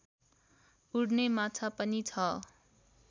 उड्ने माछा पनि छ